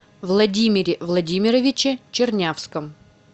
владимире владимировиче чернявском